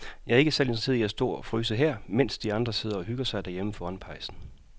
Jeg er ikke særlig interesseret i at stå og fryse her, mens de andre sidder og hygger sig derhjemme foran pejsen.